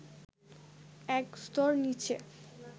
এক স্তর নিচে